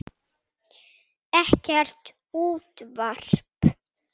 Ekkert útvarp.